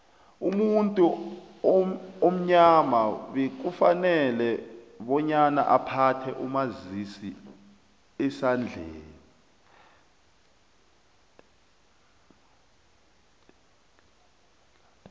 umuntu omnyama bekafanele bonyana aphathe umazisiendlelani